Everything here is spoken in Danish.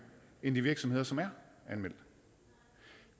end de virksomheder som er anmeldt